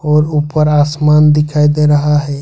और ऊपर आसमान दिखाई दे रहा है।